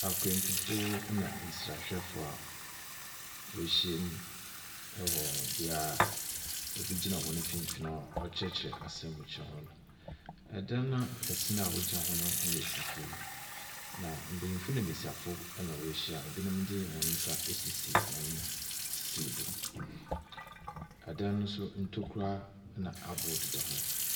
Akwantufoɔ ɛna nsrahwɛfoɔ a w'ɛhyia mu ɛwɔ biaa obi gyina wɔn mfimfin a ɔrekyerɛkyerɛ asɛm bi kyerɛ wɔn. Ɛdan kɛseɛ naa wɔn gyina ho no yɛ fufu na benyinfo ne besiafo ɛna wehyia. ebinom de wɔnsa esisi hɔn sisiw do. Adan no nso ntokura na aboɔ deda hɔ.